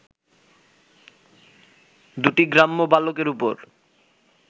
দুটি গ্রাম্য বালকের ওপর